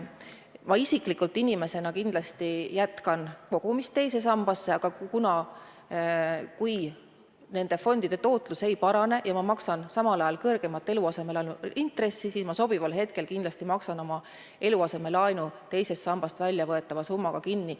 Ma isiklikult kindlasti jätkan kogumist teise sambasse, aga kui nende fondide tootlus ei parane ja ma maksan samal ajal kõrgemat eluasemelaenu intressi, siis ma sobival hetkel kindlasti maksan oma eluasemelaenu teisest sambast väljavõetava summaga kinni.